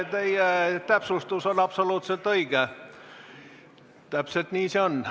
Teie täpsustus on absoluutselt õige, täpselt nii see on.